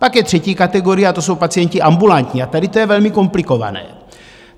Pak je třetí kategorie, a to jsou pacienti ambulantní, a tady to je velmi komplikované.